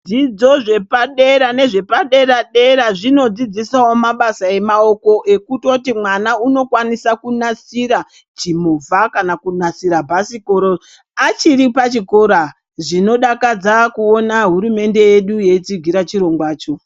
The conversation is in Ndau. Dzidzo zvepadera nezvepa-dera zvinodzidzisawo mabasa emaoko ekutoti mwana unokwanisa kunasira chimovha kana kunasira bhasikoro achiri pachikora zvinodakadza kuona hurumende yedu yeitsigira chirongwacho.